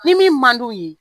Ni min man d'u ye